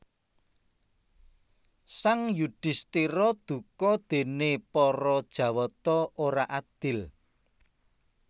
Sang Yudhisthira duka déné para Jawata ora adil